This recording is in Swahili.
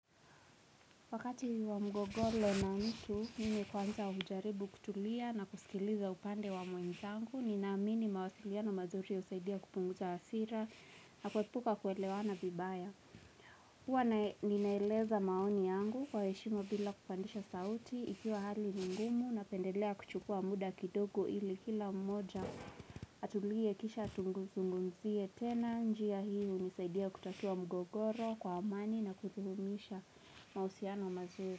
Wakati wa mgogoro na nitu mimi kwanza wa hujaribu kutulia na kusikiliza upande wa mwenzangu, ninaamini mawasiliano mazuri usaidia kupunguza hasira na kwepuka kuelewana bibaya. Hwa ninaeleza maoni yangu kwa heshima bila kufandisha sauti ikiwa hali nungumu na pendelea kuchukua muda kidogo ili kila mmoja. Atulie kisha tunguzungunzie tena njia hiu misaidia kutakua mgogoro kwa amani na kuthumisha mausiana mazuri.